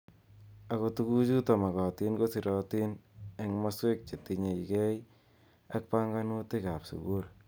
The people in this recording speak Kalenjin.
Ako tuku chutok mokotin kosirotin eng maswek che tinyekei ak panganutik ab sukul.